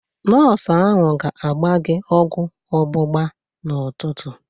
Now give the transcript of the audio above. Nọọsụ ahụ ga-agba gị ọgwụ ọgbụgba n'ụtụtụ.